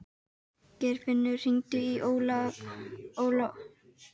Geirfinnur, hringdu í Alfons eftir sex mínútur.